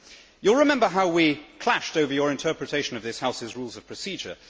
You will remember how we clashed over your interpretation of this House's Rules of Procedure.